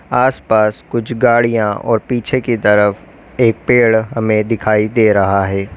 आस पास कुछ गाड़ियां और पीछे की तरफ एक पेड़ हमें दिखाई दे रहा है।